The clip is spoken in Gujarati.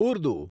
ઉર્દુ